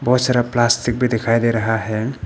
बहुत सारा प्लास्टिक भी दिखाई दे रहा है।